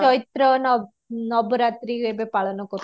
ଚୈତ୍ର ନବରାତ୍ରି ଏବେ ପାଳନ କରୁ